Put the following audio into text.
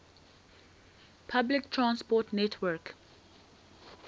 public transport network